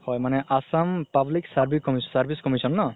হয় মানে assam public service commission ন